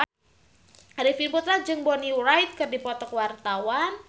Arifin Putra jeung Bonnie Wright keur dipoto ku wartawan